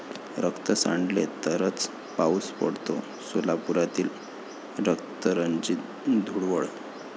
रक्त सांडले तरच पाऊस पडतो?,सोलापुरातील रक्तरंजित धुळवड